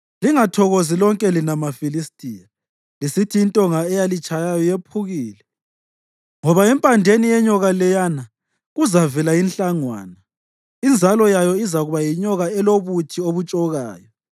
Lingathokozi, lonke lina maFilistiya, lisithi intonga eyalitshayayo yephukile; ngoba empandeni yenyoka leyana kuzavela inhlangwana, inzalo yayo izakuba yinyoka elobuthi obutshokayo.